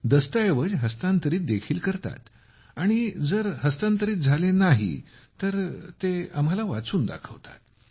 दस्तऐवज हस्तांतरित देखील करतात आणि जर हस्तांतरित नाही झाले तर ते आम्हांला वाचून दाखवतात